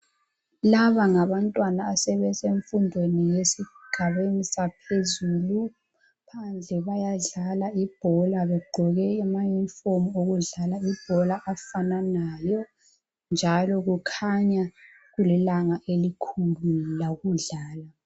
Laba ngabantwana abase sifundweni esigabeni saphezulu, phandle bayadlala ibhola begqoke ama unifomu okudlala ibhola afananayo njalo kukhanya kulilanga elikhulu labo lokudlala.